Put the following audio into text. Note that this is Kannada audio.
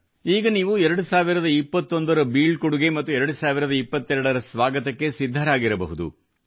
ಈಗ ನೀವು 2021 ರ ಬೀಳ್ಕೊಡುಗೆ ಮತ್ತು 2022 ರ ಸ್ವಾಗತಕ್ಕೆ ಸಿದ್ಧರಾಗಿರಬಹುದು